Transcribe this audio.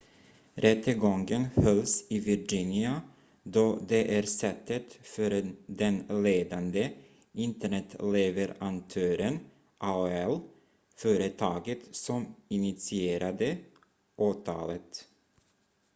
rättegången hölls i virginia då det är sätet för den ledande internetleverantören aol företaget som initierade åtalet